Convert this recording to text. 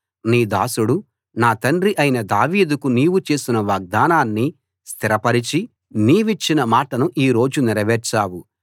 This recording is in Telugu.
నీ దాసుడు నా తండ్రి అయిన దావీదుకు నీవు చేసిన వాగ్దానాన్ని స్థిరపరచి నీవిచ్చిన మాటను ఈ రోజు నెరవేర్చావు